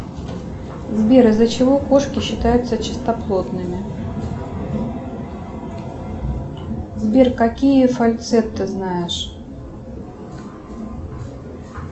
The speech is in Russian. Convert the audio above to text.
сбер из за чего кошки считаются чистоплотными сбер какие фальцет ты знаешь